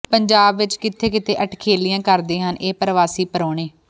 ਪੰਜਾਬ ਵਿੱਚ ਕਿੱਥੇ ਕਿੱਥੇ ਅਠਖੇਲੀਆਂ ਕਰਦੇ ਹਨ ਇਹ ਪਰਵਾਸੀ ਪ੍ਰਾਹੁਣੇ